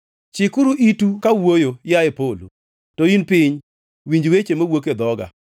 Chikuru itu kawuoyo, yaye polo; to in piny winj weche mawuok e dhoga.